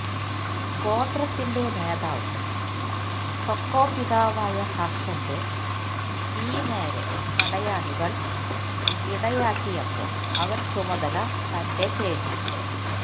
ഗോത്രത്തിന്റെ നേതാവും സൊക്ക പിതാവായ ഹർഷന്റെ തീ നേരെ പടയാളികൾ ഇടയാക്കിയപ്പോൾ അവൻ ചുമതല തന്റെ ശേഷിച്ചു